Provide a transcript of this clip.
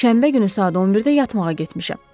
Şənbə günü saat 11-də yatmağa getmişəm.